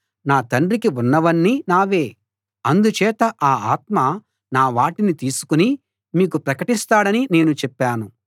నా తండ్రికి ఉన్నవన్నీ నావే అందుచేత ఆ ఆత్మ నా వాటిని తీసుకుని మీకు ప్రకటిస్తాడని నేను చెప్పాను